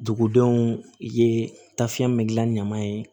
Dugudenw ye tafiyɛn bɛ gilan ɲaman ye